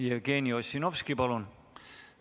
Jevgeni Ossinovski, palun!